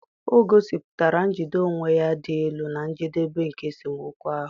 o gosipụtara njide onwe ya dị elu na njedebe nke esemokwu ahụ.